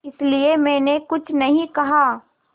इसलिए मैंने कुछ नहीं कहा